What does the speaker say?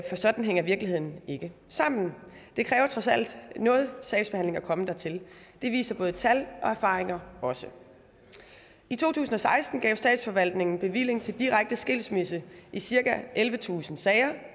sådan hænger virkeligheden ikke sammen det kræver trods alt noget sagsbehandling at komme dertil det viser både tal og erfaringer også i to tusind og seksten gav statsforvaltningen bevilling til direkte skilsmisse i cirka ellevetusind sager